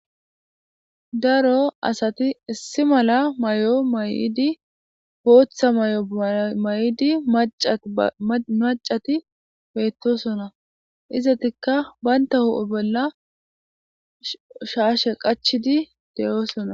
daro asati issi mala may7o may7idi booththa may7o may7idi macati beettosona izatikka banta hu7e bolla shaashe qachidi de7oosona